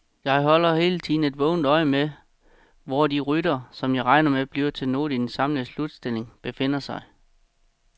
Jeg holder hele tiden vågent øje med, hvor de ryttere, som jeg regner med bliver noget i den samlede slutstilling, befinder sig.